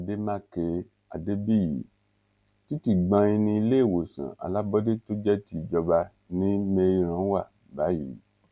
àdèmàkè adébíyí títí gbóìn ní iléèwòsàn alábọọdẹ tó jẹ ti ìjọba ní meiran wà báyìí